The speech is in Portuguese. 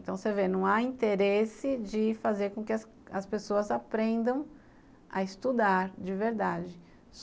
Então, você vê, não há interesse de fazer com que as as pessoas aprendam a estudar de verdade.